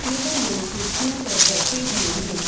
यह लोग कुर्सियों पर बैठे हुए हैं।